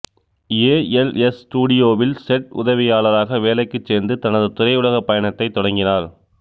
ஏ L S ஸ்டூடியோவில் set உதவியாளராக வேலைக்குச் சேர்ந்து தனது திரையுலக பயணத்தைத் தொடங்கினார்